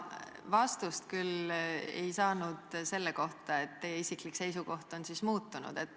Vastust küll ei saanud selle kohta, et teie isiklik seisukoht on muutunud.